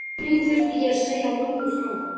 Þeim þurfti ég að segja mömmu frá.